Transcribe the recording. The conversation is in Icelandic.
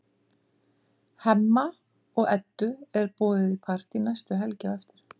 Hemma og Eddu er boðið í partí næstu helgi á eftir.